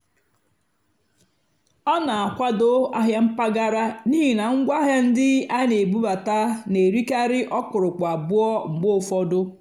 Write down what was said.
ọ́ nà-ákwádó àhịá mpàgàrà n'ìhì ná ngwáàhịá ndí á nà-èbúbátá nà-èrìkarị́ ókpùrụ́kpù àbúọ́ mgbe ụ́fọ̀dụ́.